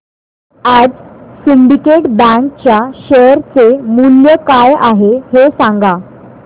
आज Syndicate Bank च्या share चे मूल्य काय आहे हे सांगा